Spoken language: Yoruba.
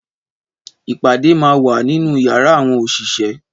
Ìpàdé má wá nínú yàrá àwọn òṣìṣẹ́